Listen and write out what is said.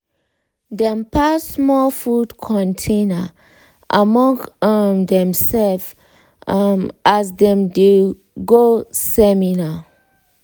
dem pass small food container among um demself um as dem dey go seminar.